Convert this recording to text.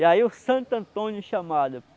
E aí o Santo Antônio chamado.